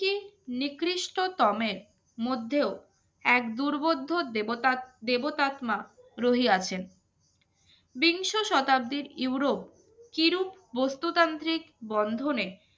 নিকৃষ্টতমের মধ্যেও এক দুর্বোধ্য দেবতাত্মা রহিয়াছেন বিংশ শতাব্দীর ইউরোপ কিরূপ বস্তুতান্ত্রিক বন্ধনে